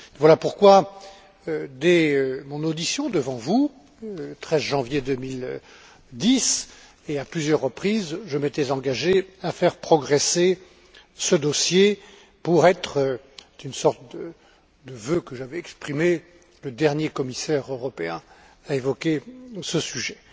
Voilà pourquoi dès mon audition devant vous, le 13 janvier 2010, et à plusieurs reprises, je m'étais engagé à faire progresser ce dossier pour être c'était une sorte de vœu que j'avais exprimé le dernier commissaire européen à évoquer ce sujet.